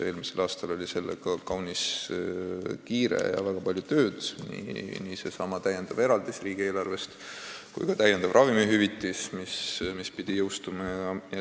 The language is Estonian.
Eelmisel aastal oli sellega kaunis kiire ja väga palju tööd, nii sellesama täiendava eraldisega riigieelarvest kui ka täiendava ravimihüvitisega, mis pidi jõustuma.